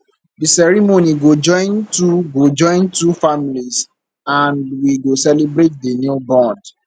di ceremony go join two go join two families and we go celebrate the new bond